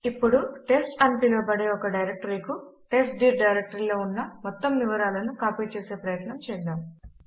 ఇప్పుడు టెస్ట్ అని పిలవబడే ఒక డైరెక్టరీకు టెస్ట్డిర్ డైరెక్టరీలో ఉన్న మొత్తము వివరాల ను కాపీ చేసే ప్రయత్నము చేద్దాము